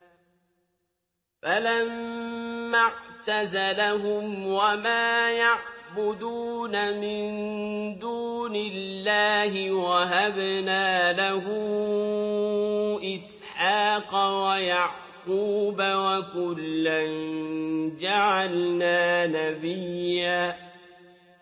فَلَمَّا اعْتَزَلَهُمْ وَمَا يَعْبُدُونَ مِن دُونِ اللَّهِ وَهَبْنَا لَهُ إِسْحَاقَ وَيَعْقُوبَ ۖ وَكُلًّا جَعَلْنَا نَبِيًّا